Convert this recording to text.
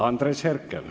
Andres Herkel.